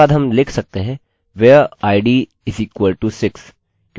याद रखिए मैंने बोला id यूनिक है update my id कहना बेहतर होगा